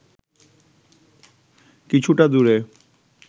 কিছুটা দূরে